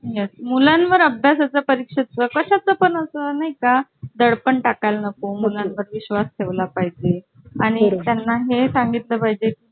त्याच्या कार्यक्रमाची पुरी arrangement माझ्या कडे आहे म्हणजे